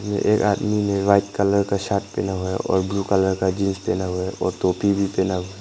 एक आदमी ने व्हाइट कलर का शर्ट पहना हुआ है और ब्ल्यू कलर का जींस पहना हुआ है और टोपी भी पहना हुआ है।